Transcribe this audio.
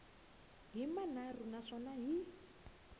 hi manharhu na swona hi